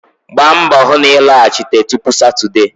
Gbaa mbọ hụ na ị lọghachite tupu Satọdee